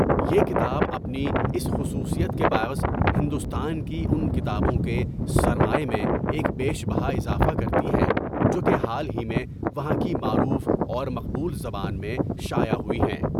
یہ کتاب اپنی اس خصوصیت کے باعث ہندوستان کی ان کتابوں کے سرمایہ میں ایک بیش بہا اضافہ کرتی ہے جو کہ حال ہی میں وہاں کی معروف اور مقبول زبان میں شائع ہوئی ہیں۔